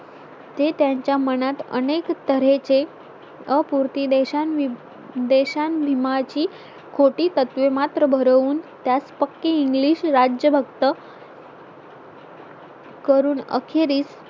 ते त्यांच्या मनात अनेक तर्हेचे अपुर्ती देशा विधीची खोटी तत्त्वे मात्र भरून त्यात पक्की English राज्य भक्त करून अखेरीस